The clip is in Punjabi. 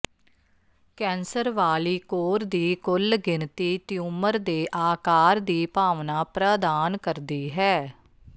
ਕੈਂਸਰ ਵਾਲੀ ਕੋਰ ਦੀ ਕੁੱਲ ਗਿਣਤੀ ਟਿਊਮਰ ਦੇ ਆਕਾਰ ਦੀ ਭਾਵਨਾ ਪ੍ਰਦਾਨ ਕਰਦੀ ਹੈ